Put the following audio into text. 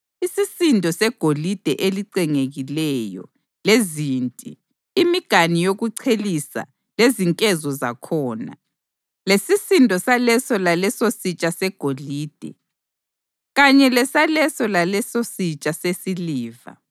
isisindo segolide elicengekileyo lezinti, imiganu yokuchelisa lezinkezo zakhona, lesisindo saleso lalesositsha segolide, kanye lesaleso lalesositsha sesiliva.